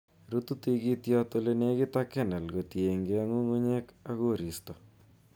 Rutu tikitikyot ole nekit ak kernel, kotienge ngungunyeek ak koristo